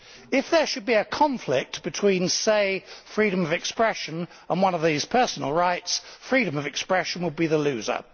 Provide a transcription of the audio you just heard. If there should be a conflict between, say, freedom of expression and one of these personal rights, freedom of expression would be the loser.